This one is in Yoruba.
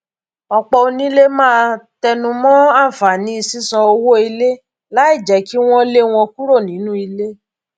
ọpọ onílé máa tenumọ ànfàní sísan owó ilé láì jẹ kí wọn lé wọn kúro nínú ilé